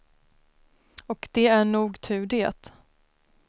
Och det är nog tur det.